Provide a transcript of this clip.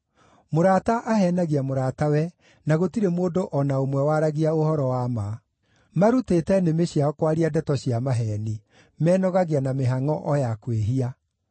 Mũrata aheenagia mũratawe, na gũtirĩ mũndũ o na ũmwe waragia ũhoro wa ma. Maarutĩte nĩmĩ ciao kwaria ndeto cia maheeni; menogagia na mĩhangʼo o ya kwĩhia.